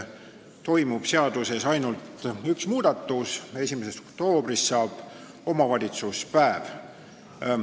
Seadusesse tuleb ainult üks muudatus: 1. oktoobrist saab omavalitsuspäev.